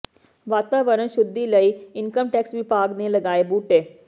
ਵਾਤਾਵਰਨ ਸ਼ੁੱਧੀ ਲਈ ਇਨਕਮ ਟੈਕਸ ਵਿਭਾਗ ਨੇ ਲਗਾਏ ਬੂਟੇ